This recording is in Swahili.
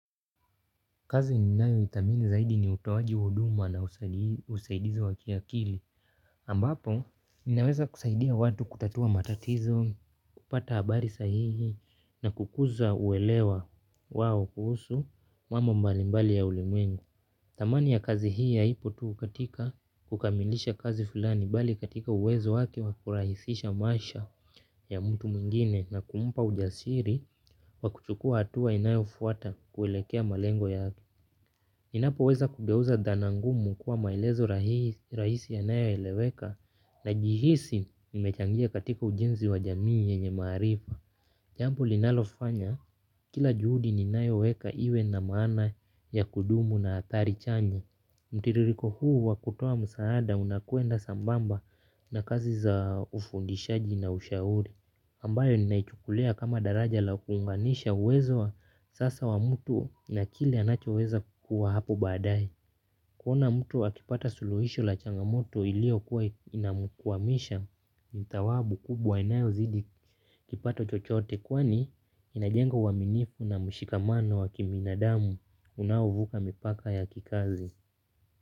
Kazi ninayoithamini zaidi ni utowaji wa huduma na usaidizi wa kiakili. Ambapo, ninaweza kusaidia watu kutatua matatizo, kupata habari sahihi na kukuza uelewa wao kuhusu mambo mbalimbali ya ulimwengu. Thamani ya kazi hii haipo tu katika kukamilisha kazi fulani bali katika uwezo wake wa kurahisisha maisha ya mtu mwingine na kumpa ujasiri wa kuchukua hatua inayofuata kuelekea malengo yake. Ninapoweza kugeuza dhana ngumu kuwa maelezo rahisi yanayoeleweka najihisi nimechangia katika ujenzi wa jamii yenye maarifa. Jambo linalofanya kila juhudi ninayoweka iwe na maana ya kudumu na athari chanya. Mtiririko huu wa kutoa msaada unakwenda sambamba na kazi za ufundishaji na ushauri ambayo ninaichukulia kama daraja la kuunganisha uwezo wa sasa wa mtu na kile anachoweza kukuwa hapo baadaye. Kuona mtu akipata suluhisho la changamoto iliyokuwa inamkwamisha ni thawabu kubwa inayozidi kipato chochote kwani inajenga uaminifu na mshikamano wa kibinadamu unaovuka mipaka ya kikazi.